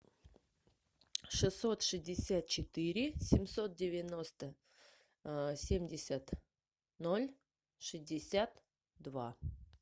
шестьсот шестьдесят четыре семьсот девяносто семьдесят ноль шестьдесят два